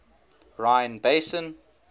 rhine basin